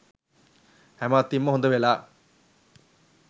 හැම අතින්ම හොඳ වෙලා